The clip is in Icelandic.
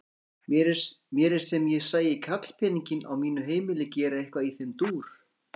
Mér er sem ég sæi karlpeninginn á mínu heimili gera eitthvað í þeim dúr!